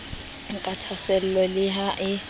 ka thahaasello le ha e